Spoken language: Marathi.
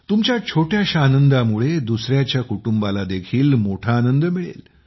तुमच्या छोट्याशा आनंदामुळे दुसऱ्याच्या कुटुंबाला देखील मोठा आनंद मिळेल